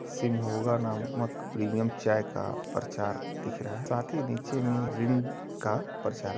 शिमोगा नामक प्रीमियम चाय का प्रचार दिख रहा है साथ ही नीचे में रिंग का प्रचार --